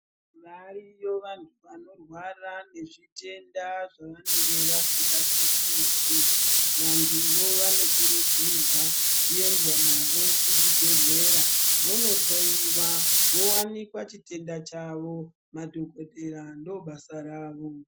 Variyo vantu vanorwara ngezvitenda zvavanenge vasinganzwisisi. Vantuvo vanokurudzirwa kuendwa navo kuzvibhedhlera vondohloyiwa vowanikwa chitenda chavo. Madhokodhera ndobasa ravo.